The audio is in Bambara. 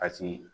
A si